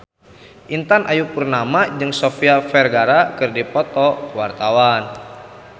Intan Ayu Purnama jeung Sofia Vergara keur dipoto ku wartawan